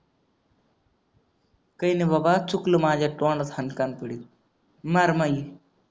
काय नाय बाबा चुकलं माझ्या तोंडात हान कानफडीत मार माय ये